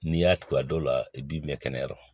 N'i y'a tugu a dɔw la i b'i mɛn kɛnɛ yɔrɔ